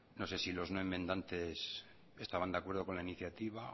no sé si los no enmendantes estaban de acuerdo con la iniciativa